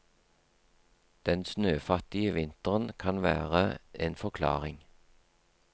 Den snøfattige vinteren kan være en forklaring.